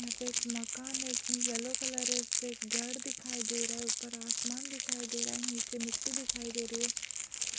यहाँ पे एक मकान है इसमें येलो कलर है इसके एक गेट दिखाई दे रहा है ऊपर आसमान दिखाई दे रहा है। नीचे मिट्टी दिखाई दे रही है।